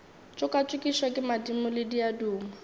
tšokatšokišwa ke madimo le diaduma